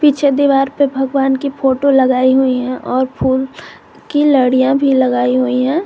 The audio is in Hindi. पीछे दीवार पे भगवान की फोटो लगाई हुई हैं और फूल की लड़ियाँ भी लगाई हुई हैं।